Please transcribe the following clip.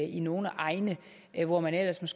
i nogle egne hvor man ellers